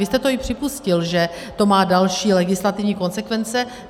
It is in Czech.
Vy jste to i připustil, že to má další legislativní konsekvence.